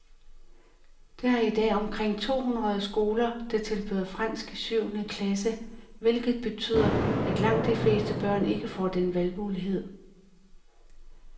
Der er i dag omkring to hundrede skoler, der tilbyder fransk i syvende klasse, hvilket betyder, at langt de fleste børn ikke får den valgmulighed.